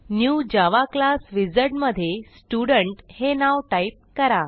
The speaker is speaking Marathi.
न्यू जावा क्लास विझार्ड मधे स्टुडेंट हे नाव टाईप करा